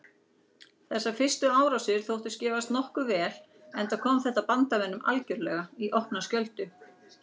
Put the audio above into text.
Þessar fyrstu árásir þóttust gefast nokkuð vel enda kom þetta bandamönnum algerlega í opna skjöldu.